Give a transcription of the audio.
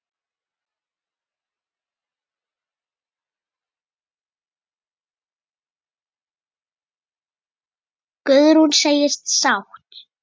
Guðrún segist sátt.